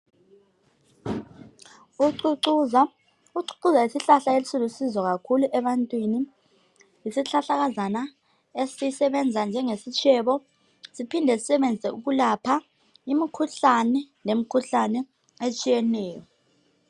Ucucuza ucucuza yisihlahla esilusizo kakhulu ebantwini yisihlahlakazana esisebenza njengesitshebo siphinde sisebenze ukulapha imkhuhlane lemikhuhlane etshiyeneyo